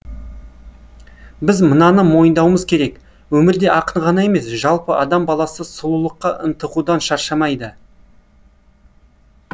біз мынаны мойындауымыз керек өмірде ақын ғана емес жалпы адам баласы сұлулыққа ынтығудан шаршамайды